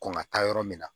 Kɔn ka taa yɔrɔ min na